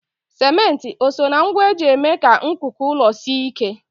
Simenti o soo na ngwa eji eme ka nkuku ụlọ sie ike?